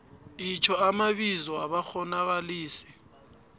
itjho amabizo wabakghonakalisi